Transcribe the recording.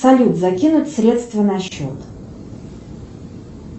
салют закинуть средства на счет